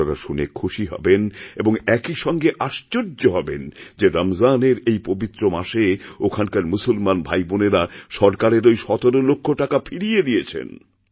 আপনারা শুনে খুশি হবেন এবং একই সঙ্গে আশ্চর্য হবেন যে রমজানের এই পবিত্র মাসেওখানকার মুসলমান ভাইবোনেরা সরকারের ওই ১৭ লক্ষ টাকা ফিরিয়ে দিয়েছেন